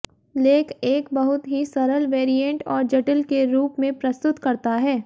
लेख एक बहुत ही सरल वेरिएंट और जटिल के रूप में प्रस्तुत करता है